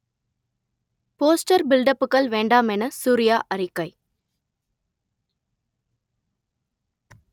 poster பில்டப்புகள் வேண்டாம் என சூர்யா அறிக்கை